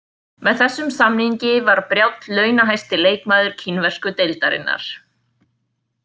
Með þessum samningi var Brjánn launahæsti leikmaður kínversku deildarinnnar.